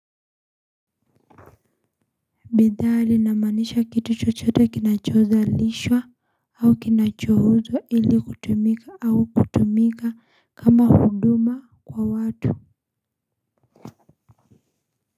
Bidhaa linamaanisha kitu chochote kinachodhalishwa au kinachouzwa ili kutumika au kutumika kama huduma kwa watu.